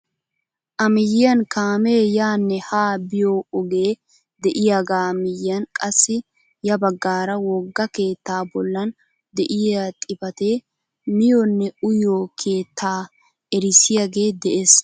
A miyiyaan kaamee yaanne haa biyoo ogee de'iyaaga miyiyaan qassi ya baggaara wogga keettaa boolan de'iyaa xifatee miyoonne uyiyoo keetta erissiyaage de'ees!